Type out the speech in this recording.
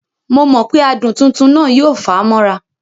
Momọ̀pé adùn tuntun náà yóò fà á mọ́ra